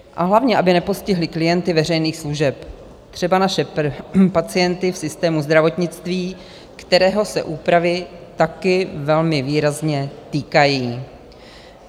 A hlavně aby nepostihly klienty veřejných služeb, třeba naše pacienty v systému zdravotnictví, kterého se úpravy taky velmi výrazně týkají.